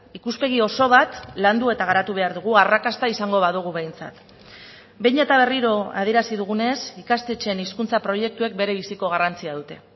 ikuspegi oso bat landu eta garatu behar dugu arrakasta izango badugu behintzat behin eta berriro adierazi dugunez ikastetxeen hizkuntza proiektuek berebiziko garrantzia dute